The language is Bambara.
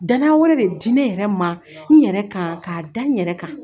Danaya wɛrɛ de di nɛ yɛrɛ ma n yɛrɛ kan k'a da n yɛrɛ kan